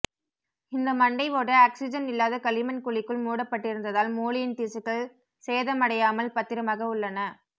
இந்த மண்டை ஓடு ஆக்ஸிஜன் இல்லாத களிமண் குழிக்குள் மூடப்படடிருந்ததால் மூளையின் திசுக்கள் சேதமடையாமல் பத்திரமாக உள்ளன